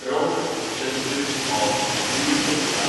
rock shelters of Bhimbetka